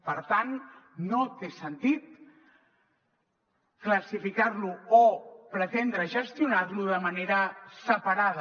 per tant no té sentit classificar lo o pretendre gestionar lo de manera separada